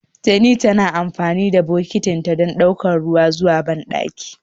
Teni tana amfani da bokitinta don ɗaukar ruwa zuwa bandakinta.